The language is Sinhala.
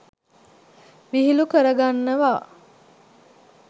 විහිළු කරගන්නවා.